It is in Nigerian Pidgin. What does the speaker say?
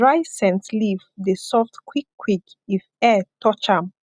dry scent leaf dey soft quick quick if air touch am